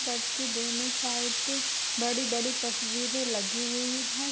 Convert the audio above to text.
Church के दोनों side बड़ी-बड़ी तस्वीरें लगी हुई हैं।